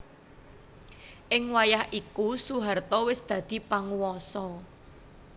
Ing wayah iku Soeharto wis dadi panguwasa